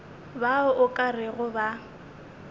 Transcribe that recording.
bao o ka rego ba